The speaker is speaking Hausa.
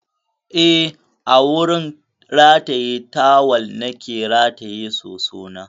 Eh, a wurin rataye tawal na ke rataye sosona.